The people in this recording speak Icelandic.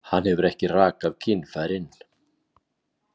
Hann hefur ekki rakað kynfærin.